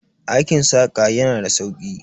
Aikin saƙa yana da sauki.